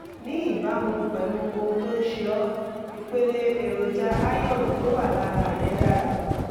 ní ìbámu pẹ̀lú ohun tó ń ṣe ọ́ ipele èròjà cs] iron tó wà lára rẹ́ dára